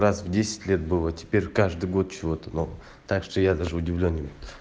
раз в десять лет было теперь каждый год чего то нового так что я даже удивлён